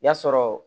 Y'a sɔrɔ